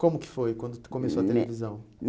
Como que foi quando tu começou a televisão?